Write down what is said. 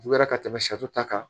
Juyara ka tɛmɛ sari ta kan